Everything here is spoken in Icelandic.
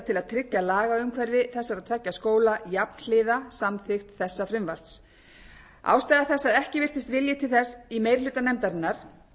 tryggja lagaumhverfi þessara tveggja skóla jafnhliða samþykkt þessa frumvarps ástæða þess að ekki virtist vilji til þess í meiri hluta nefndarinnar